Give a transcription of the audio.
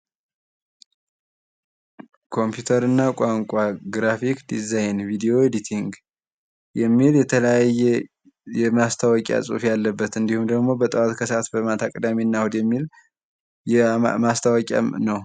ኮምፒውተር እና ቋንቋ ግራፊክስ ዲዛይን ቪዲዮ ኤዲቲንግ የሚል የተለያየ የማስታወቂያ ጽሑፍ ያለበት እንድሁም ደግሞ በጠዋት በሰአት በማታ በቅዳሜና እሑድ የሚል ማስታወቂያም ነው።